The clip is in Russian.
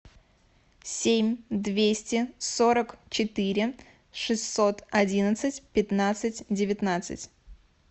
семь двести сорок четыре шестьсот одиннадцать пятнадцать девятнадцать